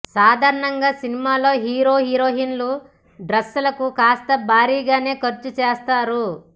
సాధారణంగా సినిమాల్లో హీరో హీరోయిన్ల డ్రెస్ లకు కాస్త భారీగానే ఖర్చు చేస్తారు